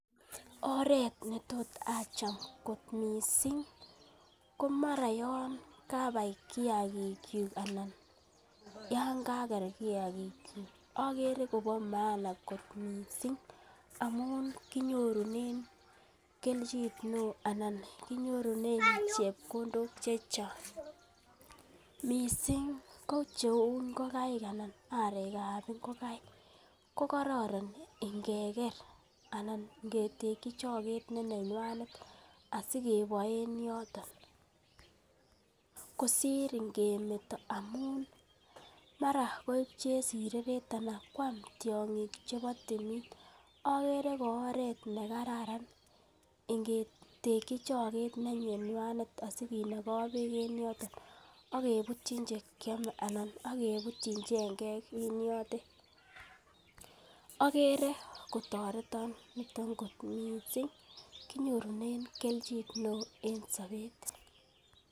Oret netot acham kot mising ko mara yon kabaii kiyagik kyuk anan yon kager kiyagik kyuk amun kinyorunen rabinik, kelchin neo anan kinyorunen chepkondok che chang. Mising ko cheu ngokaik anan arek ab ingokaik kokororon ingeker anan ingeteki choget ne nenywanet asikeboe en yoto, kosir ngemeto amun mara koib chesireret anan koma tiong'ik chebo timin agere kooret ne kararan ingetekyi choget ne nenywanet asi kinogu beek en yoton ak kebutyi che kyome anan ak kebutyin chengek en yoton. Ogere kotoreton niton mising kinyorunen kelchin neo en sobet.